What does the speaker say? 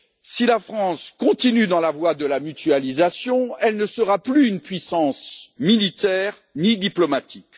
Si la France continue dans la voie de la mutualisation, elle ne sera plus une puissance militaire, ni diplomatique.